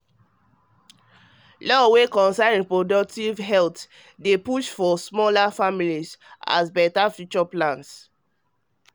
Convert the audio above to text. law wey concern reproductive health dey reproductive health dey push for smaller families as better future plans